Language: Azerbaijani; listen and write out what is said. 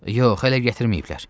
Yox, hələ gətirməyiblər.